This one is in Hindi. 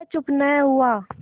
वह चुप न हुआ